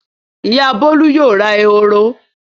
Ìyá Bólú yóò ra eworo.